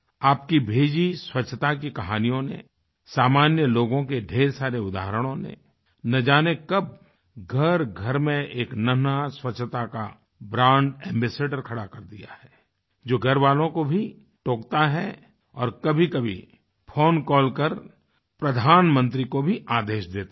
आपकी भेजी स्वच्छता की कहानियों ने सामान्य लोगों के ढ़ेर सारे उदाहरणों ने न जाने कब घरघर में एक नन्हा स्वच्छता का ब्रांड एम्बासाडोर खड़ा कर दिया है जो घरवालों को भी टोकता है और कभीकभी फोन कॉल कर प्रधानमंत्री को भी आदेश देता है